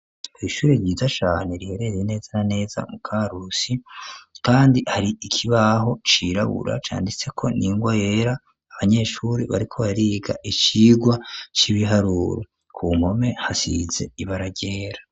Ishuri ryiza cane riherereye neza na neza mu Karusi ,kandi hari ikibaho cirabura canditseko n'ingwa yera, abanyeshuri bariko bariga icigwa c'ibiharuru ,ku mpome hasize ibara ryera.